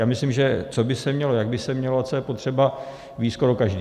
Já myslím, že co by se mělo, jak by se mělo a co je potřeba, ví skoro každý.